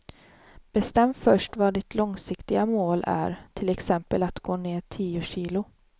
Bestäm först vad ditt långsiktiga mål är, till exempel att gå ner tio kilo.